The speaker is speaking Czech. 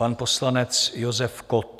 Pan poslanec Josef Kott.